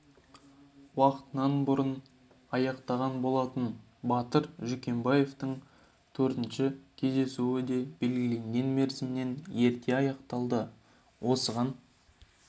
да уақытынан бұрын аяқтаған болатын батыр жүкембаевтың төртінші кездесуі де белгіленген мерзімінен ерте аяқталды осыған